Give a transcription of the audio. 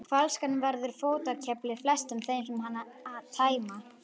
Flaskan verður fótakefli flestum þeim sem hana tæma.